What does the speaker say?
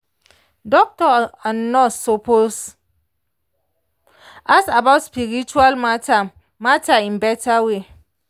doctor and nurse suppose ask about spiritual matter matter in better way.